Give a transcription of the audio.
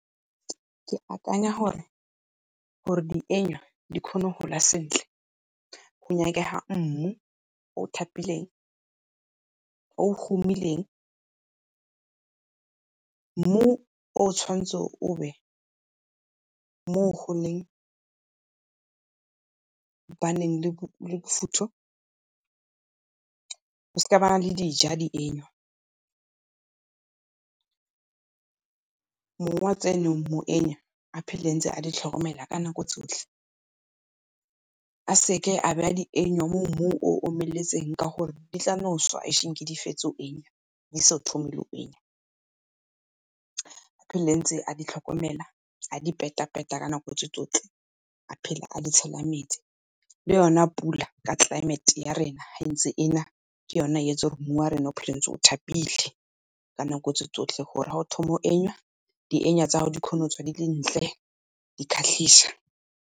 Ke akanya gore dienywa di kgone go gola sentle go nyakega mmu o tlhapileng, o o humileng, mmu o o tshwanetseng o be mo go leng go baneng le bofutho o seka wa ba le dija dienyo. Mong wa tseno mo enya a phele ntse a di tlhokomela ka nako tsotlhe. A se ke a beya dienywa mo mmung o o omeletseng ka gore di tla no swa ashinki di fetse go di so thome go . A phele ntse a di tlhokomela, a di peta-peta ka nako tse tsotlhe, a phele a di tshela metsi. Le yona pula ka climate ya rena ha entse e na ke yona e yetsa mmu wa rena o dula ntse o thapile ka nako tse tsotlhe gore ga o thoma go , di tsa gago di kgone go tswa di le dintle di kgatlhisa.